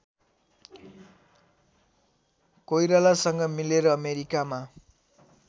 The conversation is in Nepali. कोइरालासँग मिलेर अमेरिकामा